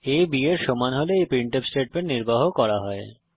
আ b এর সমান হলে এই প্রিন্টফ স্টেটমেন্ট নির্বাহ করা হয়